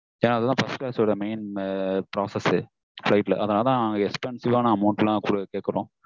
yeah அதெல்லாம் first class வோட main prospectus அதான் expensive ஆன amount எல்லாம் கேக்குறொம்